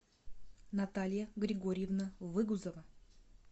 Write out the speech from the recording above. наталья григорьевна выгузова